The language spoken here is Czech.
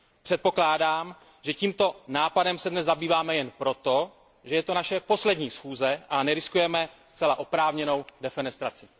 Předpokládám, že tímto nápadem se dnes zabýváme jen proto, že je to naše poslední schůze a neriskujeme zcela oprávněnou defenestraci.